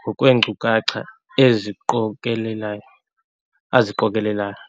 ngokweenkcukacha eziqokelelayo aziqokelelayo.